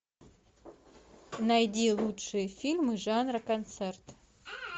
найди лучшие фильмы жанра концерт